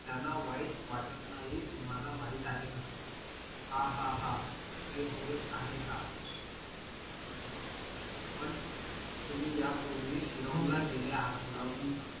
त्यांना वाईट वाटत नाही तुम्हाला माहित आहे का हा हा हा, हे होय आहे का पण तुम्ही यापूर्वी शिलाँग ला गेले आहेत का